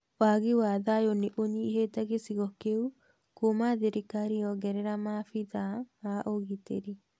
Wagi wa thayũ nĩũnyihĩte gicigo kĩu kuma thirikari yongerera maabithaa a ũgitĩri.